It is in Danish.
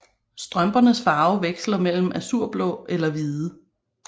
Strømpernes farve veksler mellem azurblå eller hvide